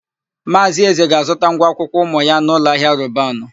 Maazị Eze ga-azụta ngwa akwụkwọ ụmụ ya n'ụlọahịa Robanu.